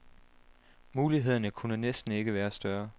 Mulighederne kunne næsten ikke være større.